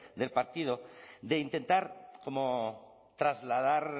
del partido de intentar como trasladar